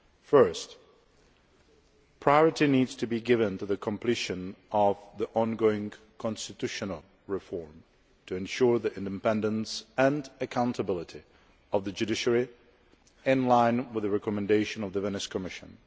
Firstly, priority needs to be given to the completion of the ongoing constitutional reform to ensure the independence and accountability of the judiciary, in line with the recommendations of the Venice Commission.